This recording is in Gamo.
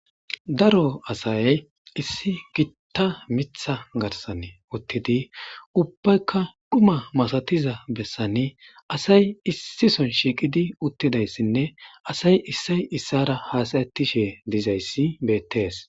daro asay issi gitta mitha garsan uttidi ubbaykka duma masatiza bessani asay issison shiiqidi uttidayssinne asay issay issara haasayettishe dizayssi beettees